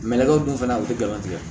Mɛlɛkɛw dun fana u ti galon tigɛ